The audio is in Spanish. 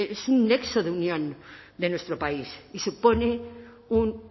es un nexo de unión de nuestro país y supone un